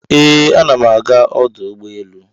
Ee, ana m aga ọdụ ụgbọ elu.